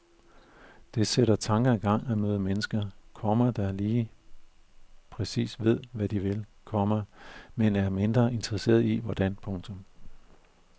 Det sætter tanker i gang at møde mennesker, komma der lige præcis ved hvad de vil, komma men er mindre interesserede i hvordan. punktum